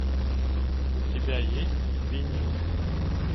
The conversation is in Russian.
у тебя есть винил